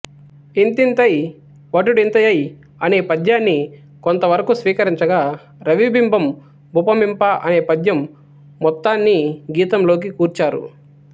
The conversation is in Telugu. ఇంతింతై వటుడింతయై అనే పద్యాన్ని కొంత వరకు స్వీకరించగా రవిబింబం బుపమింప అనే పద్యం మొత్తాన్నీ గీతం లోకి కూర్చారు